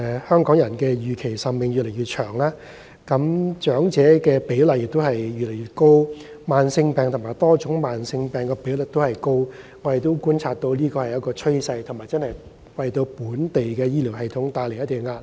香港人的預期壽命越來越長，長者比例越來越高，慢性病和多種慢性病的比率也偏高，這是我們觀察到的趨勢，為本地醫療系統帶來一定壓力。